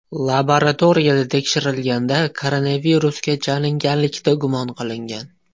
Laboratoriyada tekshirilganda, koronavirusga chalinganlikda gumon qilingan.